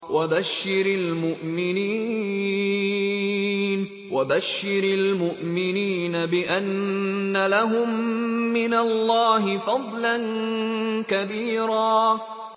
وَبَشِّرِ الْمُؤْمِنِينَ بِأَنَّ لَهُم مِّنَ اللَّهِ فَضْلًا كَبِيرًا